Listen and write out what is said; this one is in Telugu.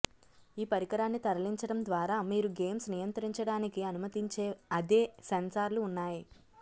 ఈ పరికరాన్ని తరలించడం ద్వారా మీరు గేమ్స్ నియంత్రించడానికి అనుమతించే అదే సెన్సార్లు ఉన్నాయి